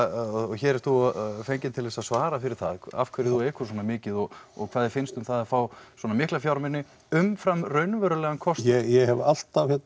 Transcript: hér ert þú fenginn til þess að svara fyrir það af hverju þú ekur svona mikið og og hvað þér finnst um það að fá svona mikla fjármuni umfram raunverulegan kostnað ég hef alltaf